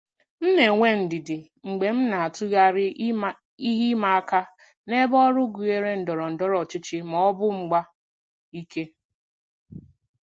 M na-enwe ndidi mgbe m na-atụgharị ihe ịma aka n'ebe ọrụ gụnyere ndọrọ ndọrọ ọchịchị ma ọ bụ mgba ike.